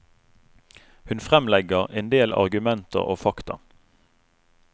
Hun fremlegger endel argumenter og fakta.